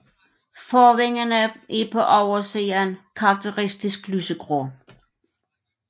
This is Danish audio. Forvingerne er på oversiden karakteristisk lysegrå